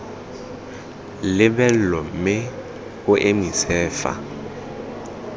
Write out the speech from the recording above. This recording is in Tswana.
lebelo mme o emise fa